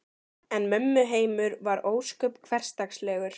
En mömmu heimur var ósköp hversdagslegur.